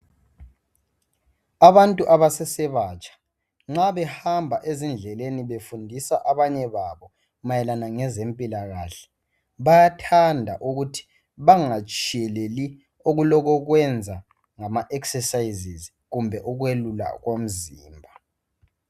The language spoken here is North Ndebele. Abantu abasese batsha nxa behamba ezindleleni befundisa abanye babo mayelana ngezempilakahle bayathanda ukuthi bangatshiyeleli okulokokwenza ngama exercises kumbe ukwelula komzimba.